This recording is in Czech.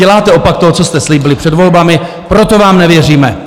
Děláte opak toho, co jste slíbili před volbami, proto vám nevěříme.